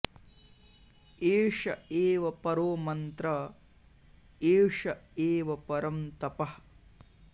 एष एव परो मन्त्र एष एव परं तपः